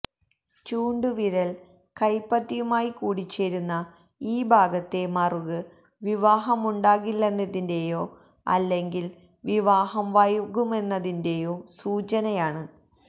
ചൂണ്ടുവിരലല് കൈപ്പത്തിയുമായി കൂടിച്ചേരുന്ന ഈ ഭാഗത്തെ മറുക് വിവാഹമുണ്ടാകില്ലെന്നതിന്റെയോ അല്ലെങ്കില് വിവാഹം വൈകുമെന്നതിന്റെയോ സൂചനയാണ്